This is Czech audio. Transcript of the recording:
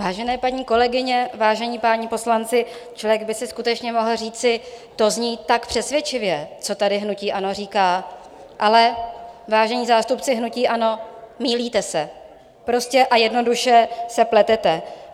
Vážené paní kolegyně, vážení páni poslanci, člověk by si skutečně mohl říci - to zní tak přesvědčivě, co tady hnutí ANO říká, ale vážení zástupci hnutí ANO, mýlíte se, prostě a jednoduše se pletete.